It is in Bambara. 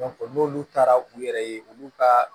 n'olu taara u yɛrɛ ye olu ka